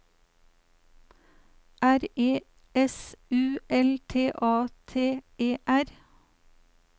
R E S U L T A T E R